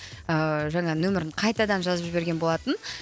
ыыы жаңа нөмірін қайтадан жазып жіберген болатын